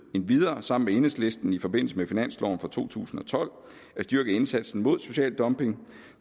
endvidere sammen med enhedslisten i forbindelse med finansloven for to tusind og tolv at styrke indsatsen mod social dumping